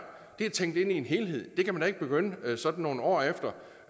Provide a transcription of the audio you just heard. er tænkt ind i en helhed det kan man da ikke begynde sådan nogle år efter